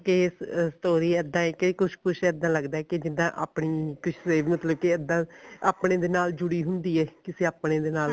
ਕੇ ਅਹ story ਇੱਦਾਂ ਐ ਕੇ ਕੁੱਝ ਇੱਦਾਂ ਲੱਗਦਾ ਕਿ ਜਿੱਦਾਂ ਆਪਣੀ ਕਿਸ ਲਈ ਮਤਲਬ ਕਿ ਇੱਦਾਂ ਆਪਣੇ ਦੇ ਨਾਲ ਜੁੜੀ ਹੁੰਦੀ ਐ ਕਿਸੇ ਆਪਣੇ ਦੇ ਨਾਲ